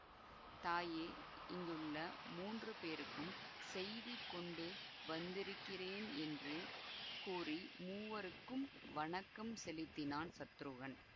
தாயே இங்குள்ள மூன்று பேருக்கும் செய்தி கொண்டு வந்திருக்கிறேன் என்று கூறி மூவருக்கும் வணக்கம் செலுத்தினான் சத்ருகன்